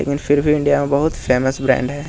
लेकिन फिर भी इंडिया में बहुत फेमस ब्रांड है।